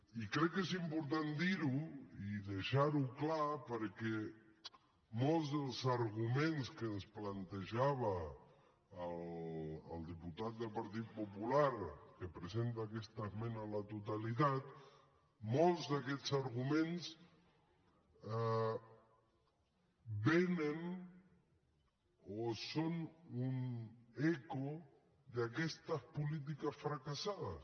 i crec que és important dir ho i deixar ho clar perquè molts dels arguments que ens plantejava el diputat del partit popular que presenta aquesta esmena a la totalitat molts d’aquests arguments vénen o són un eco d’aquestes polítiques fracassades